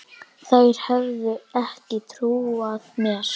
Þær hefðu ekki trúað mér.